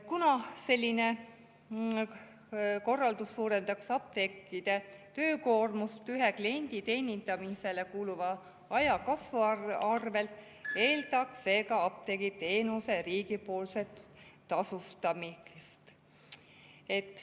Kuna selline korraldus suurendaks apteekide töökoormust, ühe kliendi teenindamisele kuluv aeg kasvaks, eeldaks see ka apteegiteenuse riigipoolset tasustamist.